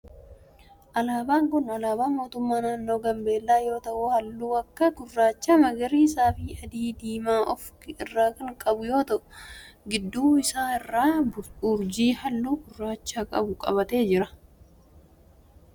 Alaabaan kun alaabaa mootummaa naannoo Gaambeellaa yoo ta'u halluu akka gurraacha, magariisa, adii fi diimaa of irraa kan qabu yoo ta'u gidduu isaa irraa urjii halluu gurraacha qabu qabatee jira.